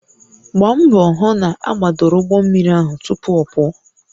Gbaa mbọ hụ na agbadoro ụgbọ mmiri ahụ tupu ọ pụọ